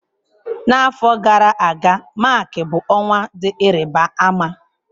N'afọ gara aga, Mak bụ ọnwa dị ịrịba ama.